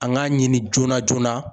An k'a ɲini joona joona.